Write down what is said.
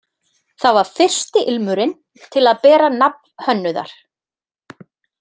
Það var fyrsti ilmurinn til að bera nafn hönnuðar.